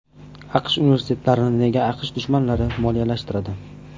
AQSh universitetlarini nega AQSh dushmanlari moliyalashtiradi?